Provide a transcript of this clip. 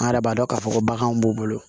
An yɛrɛ b'a dɔn k'a fɔ ko baganw b'u bolo